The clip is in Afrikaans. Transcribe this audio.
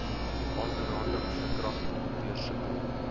aanranding verkragting deursoeking